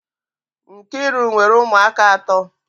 Nkiru nwere umu aka ato.